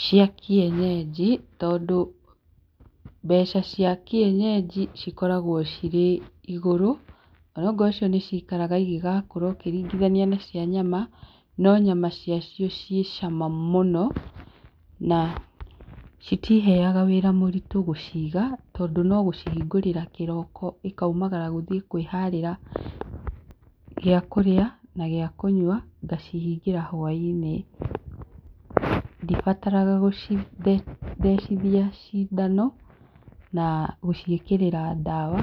Cia kienyeji, tondũ mbeca cia kienyeji cikoragwo cirĩ igũrũ, ona korwo nĩ cikaraga ingĩgakũra ũngĩringithania na cia nyama no nyama cia cio ciĩ cama mũno, na citiheaga wĩra mũritũ gũciga tondũ no gũcihingũrĩra kĩroko ikaumagara gũthiĩ kwĩ harĩra gĩa kũrĩa na gĩa kũnyua ngacihingĩra hwa-inĩ, ndibataraga gũcithe thecinjithia cindano na gũciĩkĩrĩra dawa